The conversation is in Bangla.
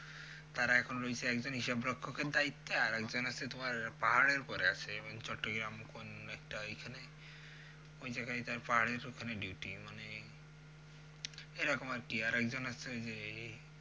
তারা এখন রইছে একজন হিসাবরক্ষের দায়িত্বে আর একজন আছে তোমার পাহাড়ের উপরে আছে মানে চট্টগ্রাম কোন একটা ওইখানে ওই জায়াগায় তার পাহাড়ের ওখানে duty মানে এরকম আরকি আর একজন আছে ওই যে